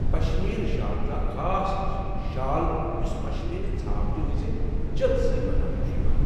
پشمیٖنہٕ شال چھُ اکھ خاص قٕسمُک شال یُس پشمیٖنہٕ ژھاوجہِ ہٕنٛزِ جٔژ سٕتہِ بناونہٕ یوان چھُ ۔